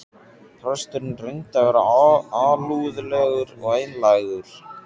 Presturinn reyndi að vera alúðlegur og einlægur.